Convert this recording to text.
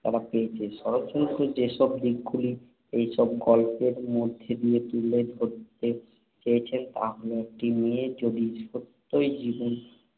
তারা পেয়েছে। শরৎচন্দ্র যেসব দিকগুলি এইসব গল্পের মধ্যে দিয়ে তুলে ধরতে চেয়েছেন, তা হল, একটি মেয়ে যদি সত্যই জীবনে